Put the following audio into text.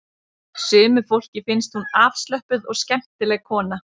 Sumu fólki finnst hún afslöppuð og skemmtileg kona